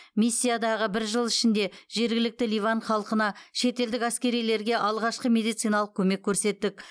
миссиядағы бір жыл ішінде жергілікті ливан халқына шетелдік әскерилерге алғашқы медициналық көмек көрсеттік